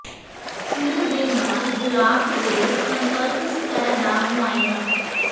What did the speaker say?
ਸਿਰ ਦੇ ਨਾਲ ਬਲਾਕ ਦੇ ਸੰਪਰਕ ਸਤਹ ਦਾ ਮੁਆਇਨਾ